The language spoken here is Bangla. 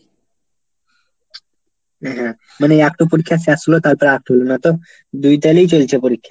হ্যাঁ। মানে একটা পরীক্ষা শেষ হলো, তারপরে হলো না তো, দুই তালেই চলছে পরীক্ষা।